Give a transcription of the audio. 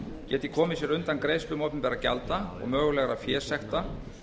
geti komið sér undan greiðslum opinberra gjalda og mögulegra fésekta